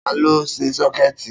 Ta ló ṣe sọ́kẹ̀tì?